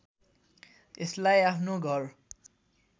यसलाई आफ्नो घर